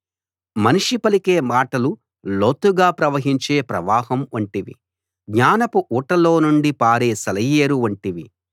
మనిషి పలికే మాటలు లోతుగా ప్రవహించే ప్రవాహం వంటివి జ్ఞానపు ఊటలో నుండి పారే సెలయేరు వంటివి